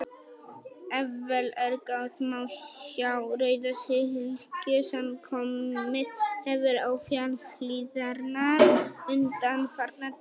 Ef vel er gáð, má sjá rauða slikju sem komið hefur á fjallshlíðarnar undanfarna daga.